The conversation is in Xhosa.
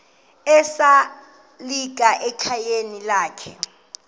esalika ekhayeni lakhe